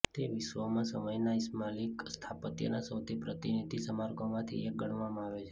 તે વિશ્વમાં સમયના ઇસ્લામિક સ્થાપત્યના સૌથી પ્રતિનિધિ સ્મારકોમાંથી એક ગણવામાં આવે છે